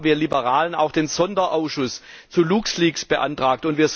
Deshalb haben wir Liberalen auch den Sonderausschuss für Luxleaks beantragt.